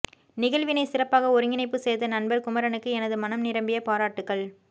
நிகழ்வினைச் சிறப்பாக ஒருங்கிணைப்பு செய்த நண்பர் குமரனுக்கு எனது மனம் நிரம்பிய பாராட்டுகள்